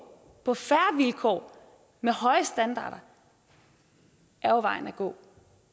på fair vilkår med høje standarder vejen at gå